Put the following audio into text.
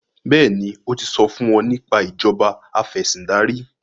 béèni o tí so fún wón nípa Ìṣèjọba Afẹ̀sìndarí